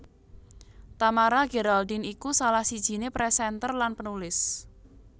Tamara Geraldine iku salah sijiné presenter lan penulis